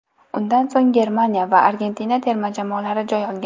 Undan so‘ng Germaniya va Argentina terma jamoalari joy olgan.